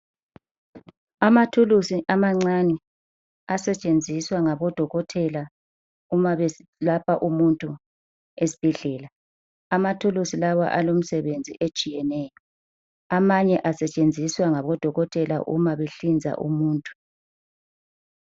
Amathuluzi amancane asetshenziswa ngabodokotela umabeselapha umuntu esibhedlela. Amathuluzi lawo alomsebenzi etshiyeneyo amanye asetshenziswa ngodokotela uma behlinza umuntu.